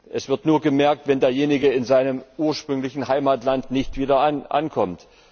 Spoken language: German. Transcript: Es wird nur bemerkt, wenn derjenige in seinem ursprünglichen Heimatland nicht wieder ankommt.